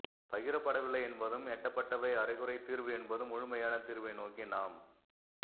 பகிரப்படவில்லை என்பதும் எட்டப்பட்டவை அரைகுறைத் தீர்வு என்பதும் முழுமையான தீர்வை நோக்கி நாம்